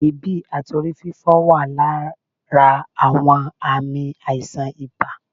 èébi àti orí-fífọ́ wà lára àwọn ààmì aíṣan ìbá